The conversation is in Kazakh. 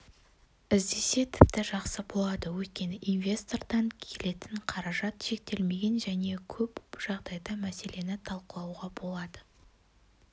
іздесе тіпті жақсы болады өйткені инвестордан келетін қаражат шектелмеген және көп жағдайды мәселені талқылауға болады